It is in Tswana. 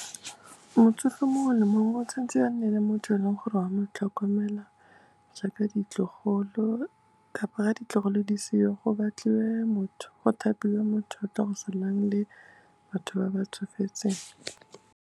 Motsofe mongwe le mongwe o tshwan'tse a nne le motho o e leng gore wa motlhokomela jaaka ditlogolo, kapa ditlogolo di seo, go thapiwe motho o tlo go salang le batho ba ba tsofetseng.